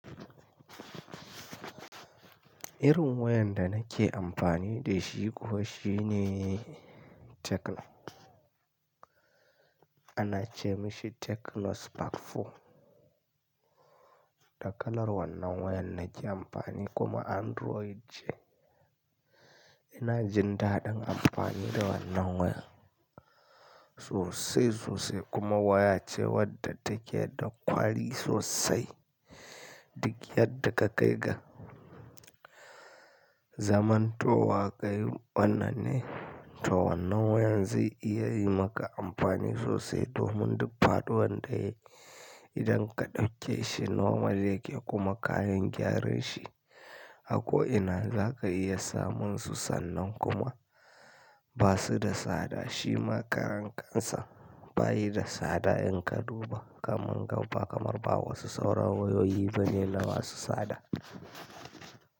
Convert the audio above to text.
Irin wayar da nake amfani da shi kuwa shine Tecno, ana ce mashi Tecno Spark 4. Dakalar wannan wayar nake amfani kuma Android ce. Ina jin daɗin amfani da wannan waya sosai sosai kuma waya ce wadda take da kwali sosai. Duk yadda ka kai ga. Zaman to wa ka yi wannan ne, to wannan wayan zai iya yi maka amfani sosai domin duk faɗuwar da yayi idan ka ɗauke shi nomal yake kuma kayar gyaran shi. Ako ina za ka iya samun su sannan kuma ba su da tsada. Shi ma karan kansa bayi da sada in ka duba kamar gaba kamar ba wasu sauran wayoyi bane na masu sada.